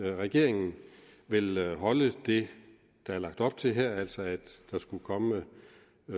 regeringen vil holde det der er lagt op til her altså at der skulle komme